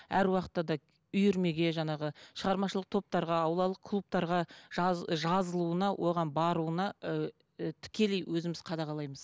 әр уақытта да үйірмеге жаңағы шығармашылық топтарға аулалық клубтарға жазылуына оған баруына ыыы тікелей өзіміз қадағалаймыз